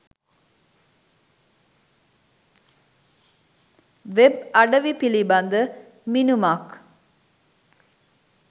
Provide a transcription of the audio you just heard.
Web අඩවි පිළිබඳ මිනුමක්.